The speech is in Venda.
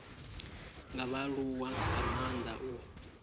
nga vhaaluwa nga maanda u